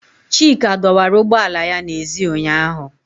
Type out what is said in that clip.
Chika dọwara ụgbọ ala ya n'èzí ụnyahụ.